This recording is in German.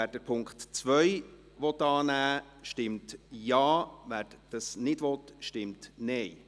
Wer den Punkt 2 annehmen will, stimmt Ja, wer diesen ablehnt, stimmt Nein.